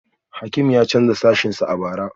Hakim ya canza sashensa a bara